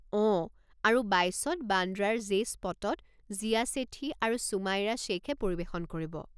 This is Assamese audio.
অঁ, আৰু বাইছত বান্দ্ৰাৰ জে স্পটত জিয়া ছেঠী আৰু সুমাইৰা শেইখে পৰিৱেশন কৰিব।